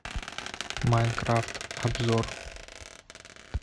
майнкрафт обзор